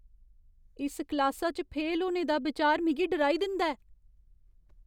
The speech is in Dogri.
इस क्लासा च फेल होने दा बिचार मिगी डराई दिंदा ऐ।